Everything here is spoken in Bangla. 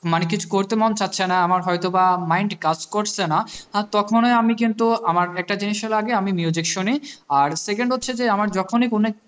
মানে কিছু করতে মন চাইছেনা আমার হয় তো বা mind কাজ করছে না আর তখনই আমি কিন্তু আমার একটা জিনিস হলো আগে আমি শুনি আর second হচ্ছে যে আমার যখনি কোনো